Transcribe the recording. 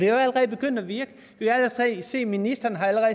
er jo allerede begyndt at virke vi har set at ministeren har